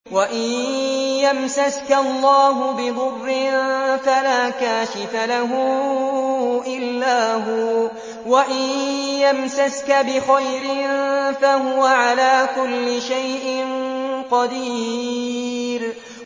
وَإِن يَمْسَسْكَ اللَّهُ بِضُرٍّ فَلَا كَاشِفَ لَهُ إِلَّا هُوَ ۖ وَإِن يَمْسَسْكَ بِخَيْرٍ فَهُوَ عَلَىٰ كُلِّ شَيْءٍ قَدِيرٌ